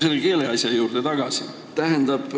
Tulen keeleasja juurde tagasi.